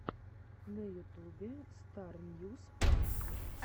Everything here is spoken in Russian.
на ютубе стар ньюс пранк